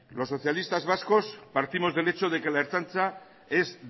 los socialistas vascos partimos del hecho de que la ertzaintza es